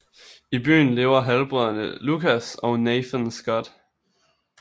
I byen lever halvbrødrene Lucas og Nathan Scott